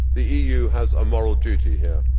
The EU has a moral duty here.